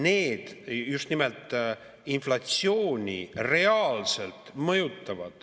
Need just nimelt mõjutavad inflatsiooni reaalselt.